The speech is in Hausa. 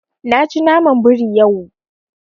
Na ci naman biri yau.